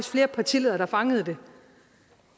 flere partiledere der fangede det